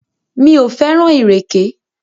Mi ò fẹ́ràn ìrèké.